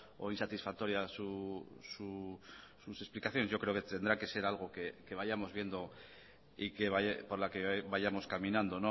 o insatisfactoria sus explicaciones yo creo que tendrá que ser algo que vayamos viendo y por la que vayamos caminando